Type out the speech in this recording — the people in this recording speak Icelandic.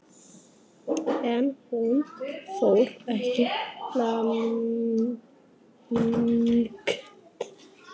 En hún fór ekki langt.